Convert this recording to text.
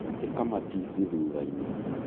ĩka matici thutha-inĩ